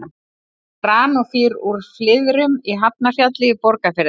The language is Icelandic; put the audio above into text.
Granófýr úr Flyðrum í Hafnarfjalli í Borgarfirði.